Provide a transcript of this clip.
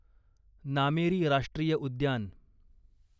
नामेरी राष्ट्रीय उद्यान